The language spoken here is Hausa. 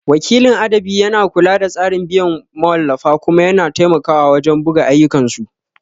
Wakilin adabi yana kula da tsarin biyan mawallafa kuma yana taimakawa wajen buga ayyukansu.